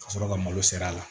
Ka sɔrɔ ka malo ser'a ma